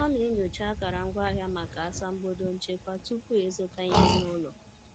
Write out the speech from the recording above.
O na-enyocha akara ngwaahịa maka asambodo nchekwa tupu ịzụta ihe n’ụlọ.